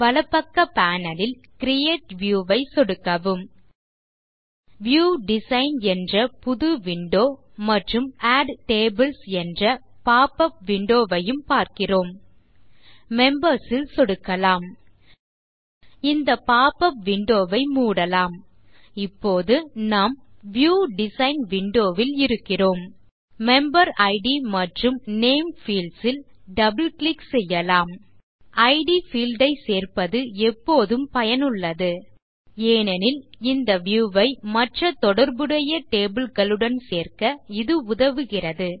வலப்பக்க panel ல் create view ஐ சொடுக்கவும் வியூ டிசைன் என்ற புது விண்டோ மற்றும் ஆட் டேபிள்ஸ் என்ற போப்பப் விண்டோ ஐயும் பார்க்கிறோம் மெம்பர்ஸ் ல் சொடுக்கலாம் இந்த போப்பப் விண்டோ ஐ மூடலாம் இப்போது நாம் வியூ டிசைன் விண்டோ ல் இருக்கிறோம் மெம்பரிட் மற்றும் நேம் பீல்ட்ஸ் ல் டபிள் கிளிக் செய்யலாம் இட் பீல்ட் ஐ சேர்ப்பது எப்போதும் பயனுள்ளது ஏனெனில் இந்த வியூ ஐ மற்ற தொடர்புடைய டேபிள் களுடன் சேர்க்க இது உதவுகிறது